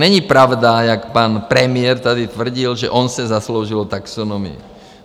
Není pravda, jak pan premiér tady tvrdil, že on se zasloužil o taxonomii.